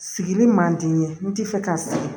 Sigili man di n ye n ti fɛ ka sigi